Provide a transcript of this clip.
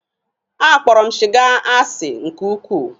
A kpọrọ m siga asi nke ukwuu.